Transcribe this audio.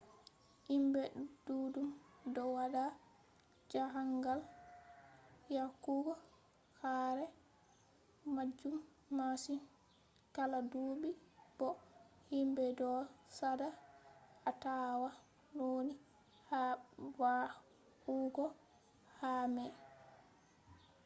himbe duddum do wada jahangal yahugo ka'are majum masin kala dubi bo himbe do sada atawa nauni ha va'ugo ka'a mai